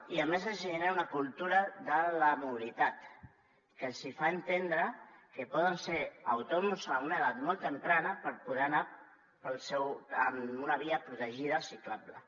i a més es genera una cultura de la mobilitat que els fa entendre que poden ser autònoms a una edat molt primerenca per poder anar en una via protegida ciclable